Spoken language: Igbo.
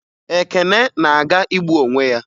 Ekene na-aga igbu onwe ya